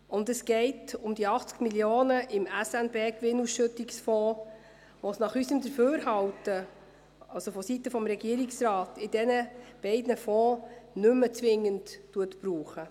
Und es geht um die 80 Mio. Franken im SNB-Gewinnausschüttungsfonds, die es nach unserem Dafürhalten vonseiten des Regierungsrates nicht mehr zwingend in diesen beiden Fonds braucht.